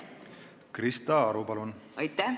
Krista Aru, palun!